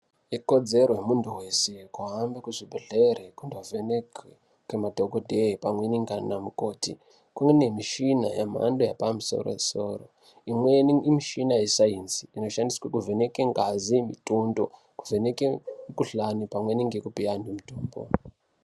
Ikodzero yemuntu vese kuhamba kuzvibhedhlere kundovheneke ngemadhogodheye pamweni ndiana mukoti. Kune mishina yemhando yepamusoro-soro, imweni imishina yesaenzi inoshandiswa kuvheneke ngazi, mitundo kuvheneke mikuhlani pamweni ngekupa antu mitombo.